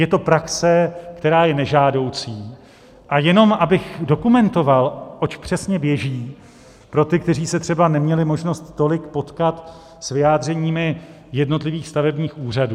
Je to praxe, která je nežádoucí, a jenom abych dokumentoval, oč přesně běží, pro ty, kteří se třeba neměli možnost tolik potkat s vyjádřeními jednotlivých stavebních úřadů.